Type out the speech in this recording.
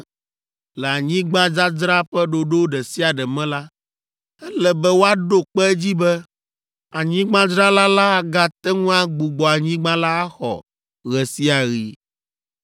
Le anyigbadzadzra ƒe ɖoɖo ɖe sia ɖe me la, ele be woaɖo kpe edzi be anyigbadzrala la agate ŋu agbugbɔ anyigba la axɔ ɣe sia ɣi.